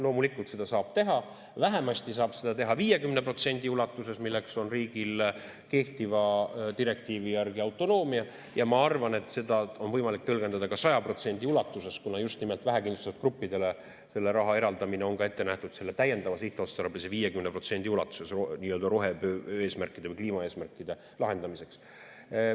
Loomulikult seda saab teha, vähemasti saab seda teha 50% ulatuses, milleks on riigil kehtiva direktiivi järgi autonoomia, ja ma arvan, et seda on võimalik tõlgendada ka 100% ulatuses, kuna just nimelt vähekindlustatud gruppidele selle raha eraldamine on ette nähtud selle täiendava sihtotstarbelise 50% ulatuses rohepöörde eesmärkide, kliima eesmärkide lahendamiseks.